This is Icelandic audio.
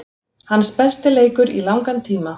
Hans besti leikur í langan tíma.